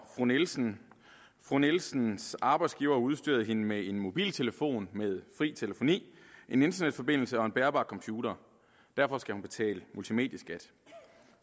fru nielsen fru nielsens arbejdsgiver har udstyret hende med en mobiltelefon med fri telefoni en internetforbindelse og en bærbar computer derfor skal hun betale multimedieskat